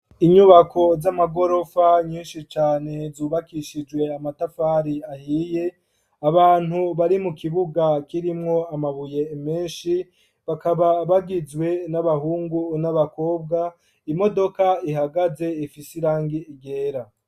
Inyubako z'amagorofa nyinshi cane zubakishijwe amatafari ahiye, abantu bari mu kibuga k'irimwo amabuye menshi bakaba bagizwe n'abahungu n'abakobwa, imodoka ihagaze ifisirangi ryera.